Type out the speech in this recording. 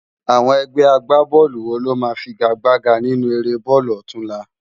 Awòn ègbè ágbábòlú wó ló má figágbágá ninú éré bólú òtúnlá?